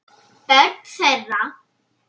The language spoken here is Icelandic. Börn þeirra